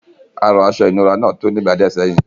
Àrọ̀ aṣọ ìnura náà tú ní ìgbà díẹ̀ sẹ́yìn.